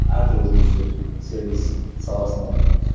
әртүрлі жұмыс істедім сервис саласында